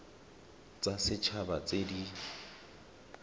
tsa set haba tse di